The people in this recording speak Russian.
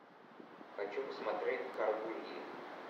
хочу посмотреть гаргульи